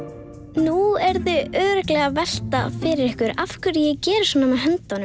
nú eruð þið örugglega að velta fyrir ykkur af hverju ég geri svona með höndunum